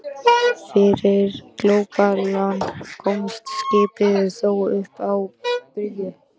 Fyrir glópalán komst skipið þó upp að bryggju.